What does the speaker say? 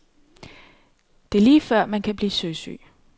Det er lige før man kan blive søsyg.